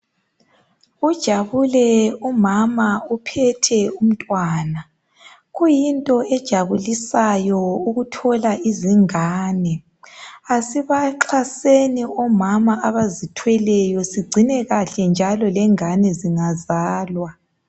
Ujabule umama uphethe umntwana. Kuyinto ejabulisayo ukuthola izingane. Asibaxaseni omama abazithweleyo njalo sigcine kuhle lengane zingazalwa.